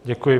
Děkuji.